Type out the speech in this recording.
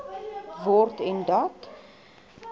word en dat